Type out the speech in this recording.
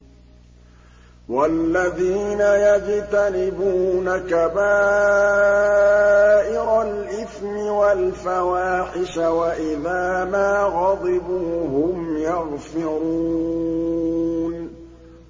وَالَّذِينَ يَجْتَنِبُونَ كَبَائِرَ الْإِثْمِ وَالْفَوَاحِشَ وَإِذَا مَا غَضِبُوا هُمْ يَغْفِرُونَ